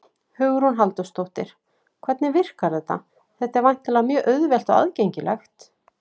Hugrún Halldórsdóttir: Hvernig virkar þetta, þetta er væntanlega mjög auðvelt og aðgengilegt?